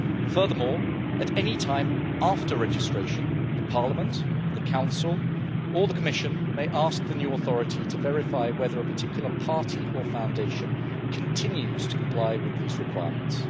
Furthermore, at any time after registration, Parliament, the Council or the Commission may ask the new authority to verify whether a particular party or foundation continues to comply with these requirements.